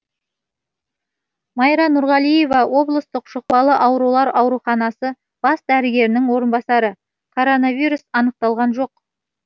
майра нұрғалиева облыстық жұқпалы аурулар ауруханасы бас дәрігерінің орынбасары коронавирус анықталған жоқ